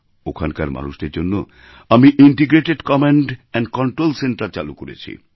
ওখানকার মানুষদের জন্য আমি integrated command and control centre চালু করেছি